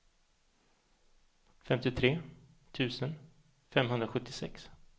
femtiotre tusen femhundrasjuttiosex